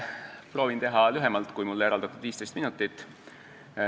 Proovin teha lühemalt kui mulle eraldatud 15 minutit.